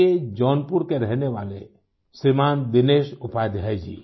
के जौनपुर के रहने वाले श्रीमान् दिनेश उपाध्याय जी